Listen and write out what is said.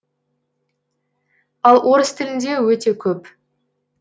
ал орыс тілінде өте көп